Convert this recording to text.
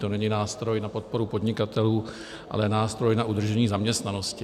To není nástroj na podporu podnikatelů, ale nástroj na udržení zaměstnanosti.